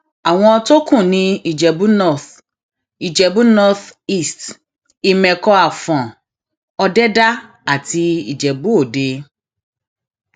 àwọn tó kù ní ìjẹbù north ìjẹbù north east ìmẹkọ àfọn ọdẹdá àti ìjẹbù òde